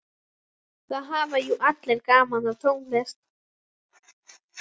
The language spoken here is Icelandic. Það hafa jú allir gaman af tónlist.